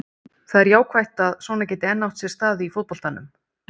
Það er jákvætt að svona geti enn átt sér stað í fótboltanum.